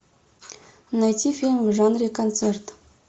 найти фильм в жанре концерт